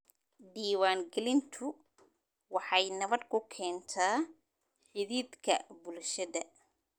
Diiwaangelintu waxay nabad ku keentaa xidhiidhka bulshada.